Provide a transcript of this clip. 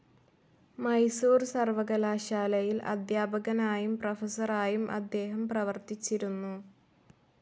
മൈസൂർ സർവ്വകലാശാലയിൽ അദ്ധ്യാപകനായും പ്രൊഫസറായും അദ്ദേഹം പ്രവർത്തിച്ചിരുന്നു.